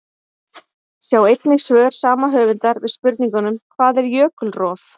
Sjá einnig svör sama höfundar við spurningunum: Hvað er jökulrof?